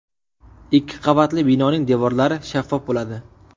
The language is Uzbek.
Ikki qavatli binoning devorlari shaffof bo‘ladi.